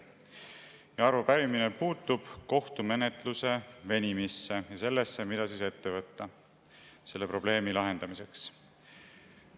Ja arupärimine puudutab kohtumenetluse venimist ja seda, mida ette võtta selle probleemi lahendamiseks.